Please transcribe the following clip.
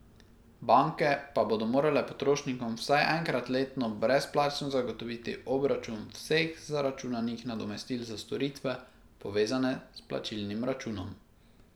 Banke pa bodo morale potrošnikom vsaj enkrat letno brezplačno zagotoviti obračun vseh zaračunanih nadomestil za storitve, povezane s plačilnim računom.